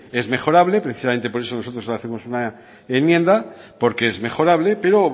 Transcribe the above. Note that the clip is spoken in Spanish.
es mejorable precisamente por eso nosotros hacemos una enmienda porque es mejorable pero